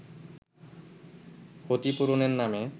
ক্ষতিপূরণের নামে